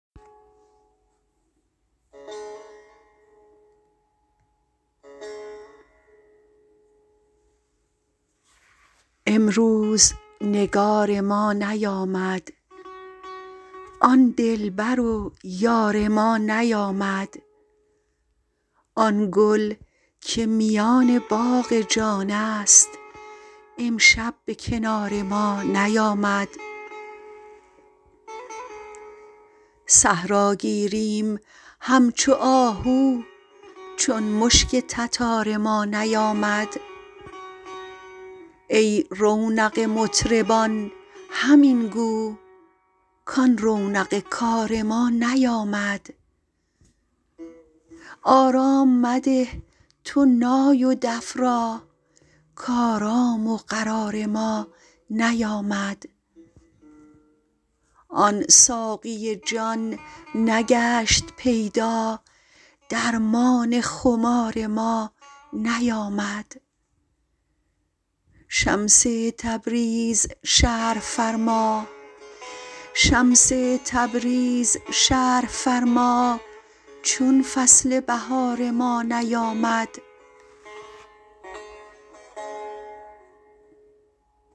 امروز نگار ما نیامد آن دلبر و یار ما نیامد آن گل که میان باغ جانست امشب به کنار ما نیامد صحرا گیریم همچو آهو چون مشک تتار ما نیامد ای رونق مطربان همین گو کان رونق کار ما نیامد آرام مده تو نای و دف را کآرام و قرار ما نیامد آن ساقی جان نگشت پیدا درمان خمار ما نیامد شمس تبریز شرح فرما چون فصل بهار ما نیامد